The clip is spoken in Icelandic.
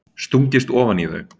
Stungist ofan í þau.